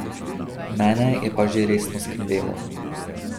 Mene je pa že resno skrbelo.